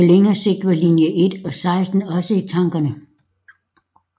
På længere sigt var linje 1 og 16 også i tankerne